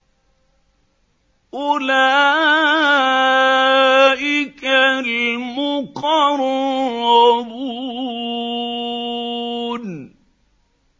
أُولَٰئِكَ الْمُقَرَّبُونَ